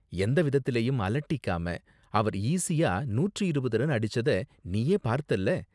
எந்த விதத்துலயும் அலட்டிக்காம அவர் ஈஸியா நூற்று இருபது ரன் அடிச்சத நீயே பார்த்தல.